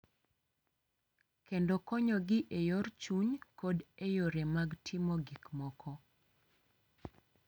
Kendo konyogi e yor chuny kod e yore mag timo gik moko.